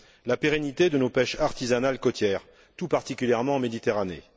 la pérennité de nos pêches artisanales côtières, tout particulièrement en Méditerranée.